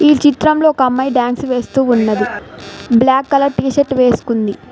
ఈ చిత్రంలో ఒక అమ్మాయి డాన్స్ వేస్తూ ఉన్నది బ్లాక్ కలర్ టీ షర్ట్ వేసుకుంది.